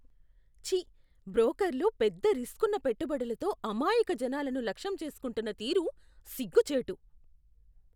ఛీ! బ్రోకర్లు పెద్ద రిస్కున్న పెట్టుబడులతో అమాయక జనాలని లక్ష్యం చేసుకుంటున్న తీరు సిగ్గు చేటు!